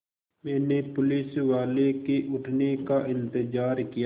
मैंने पुलिसवाले के उठने का इन्तज़ार किया